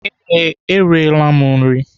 Ee, E riela m nri.